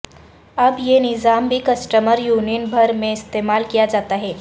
اب یہ نظام بھی کسٹمر یونین بھر میں استعمال کیا جاتا ہے